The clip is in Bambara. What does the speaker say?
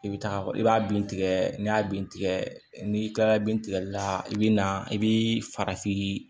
I bɛ taga i b'a bin tigɛ n'i y'a bin tigɛ n'i kilala bin tigɛli la i bi na i bi farafin